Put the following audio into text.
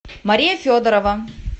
мария федорова